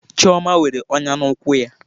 Chioma nwere ọnya n'ụkwụ ya.